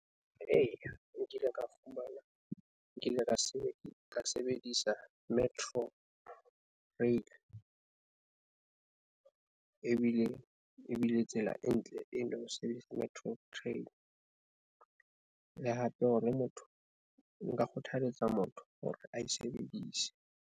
Eya nkile ka fumana nkile ka ka sebedisa ka sebedisa metro rail ebile ebile tsela e ntle. E ne sebedisa metro train. Le hape ho na motho nka kgothaletsa motho hore ae sebedise.